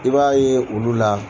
I b'a ye olu la.